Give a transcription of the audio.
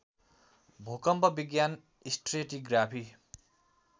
भूकम्प विज्ञान स्ट्रेटीग्राफी